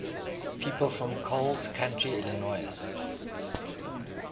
people from coles county illinois